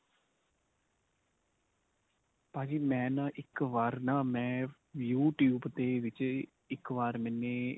ਭਾਜੀ ਮੈਂ ਨਾਂ ਇੱਕ ਵਾਰ ਨਾ ਮੈਂ YouTube ਦੇ ਵਿੱਚ ਇੱਕ ਵਾਰ ਮੈਨੇ